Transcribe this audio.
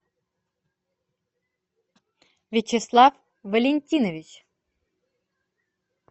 вячеслав валентинович